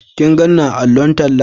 Ka gan ni a allon talla?